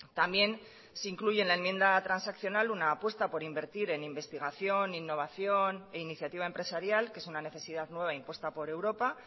también se incluye en la enmienda transaccional una apuesta por invertir en investigación innovación e iniciativa empresarial que es una necesidad nueva impuesta por europa